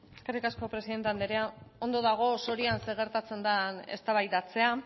eskerrik asko presidente andrea ondo dago sorian zer gertatzen den eztabaidatzea